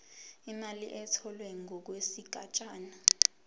imali etholwe ngokwesigatshana